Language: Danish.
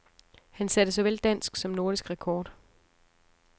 Han satte såvel dansk som nordisk rekord.